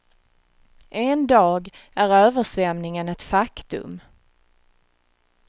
En dag är översvämningen ett faktum.